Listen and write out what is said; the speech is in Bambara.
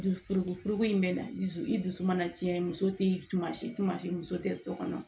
Dusu fukoforoko in bɛ na dusu i dusu mana tiɲɛ muso tɛ tuma si tuma muso tɛ so kɔnɔ